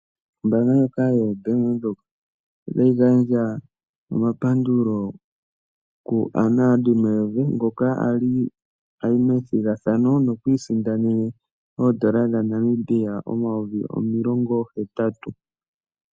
Ombaanga ndjoka yoBank Windhoek otayi gandja omapandulo Anna van der Merwe ngoka ali ayi methigathano nokwiisindanene oondola dha Namibia omayovi omilongo hetatu.